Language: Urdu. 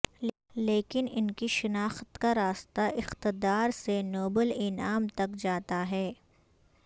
لیکن انکی شناخت کا راستہ اقتدار سے نوبل انعام تک جاتا ہے